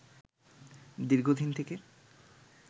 দীর্ঘদিন থেকে